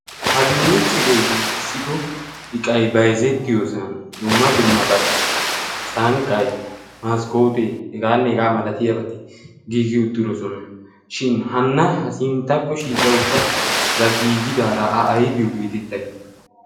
parnniiccheree giigissido iqai baizettiyoosan dumma dumma bati sankqai maskkootee hegaane hegaa malatiya bati giigi uttirosona. shin hannaha sinttakko shiiqa utta ra giigidaara a aibiyo geetettay?